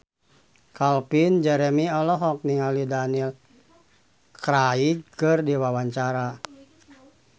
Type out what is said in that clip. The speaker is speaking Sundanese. Calvin Jeremy olohok ningali Daniel Craig keur diwawancara